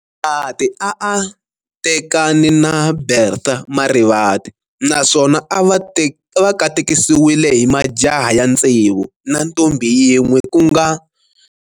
Marivate a a tekane na Bertha Marivate naswona a va katekisiwe hi majaha ya ntsevu na ntombhi yin'we kunga.